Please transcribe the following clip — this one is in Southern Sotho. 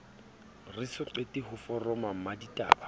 re soqete ho foroma mmaditaba